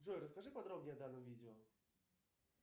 джой расскажи подробнее о данном видео